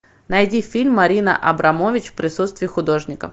найди фильм марина абрамович в присутствии художника